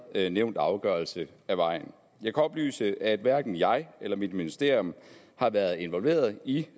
kæret nævnte afgørelse af vejen jeg kan oplyse at hverken jeg eller mit ministerium har været involveret i